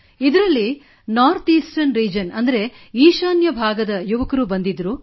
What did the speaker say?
ಇದರಲ್ಲಿ N E R ಈಶಾನ್ಯ ಭಾಗದ ಯುವಕರೂ ಬಂದಿದ್ದರು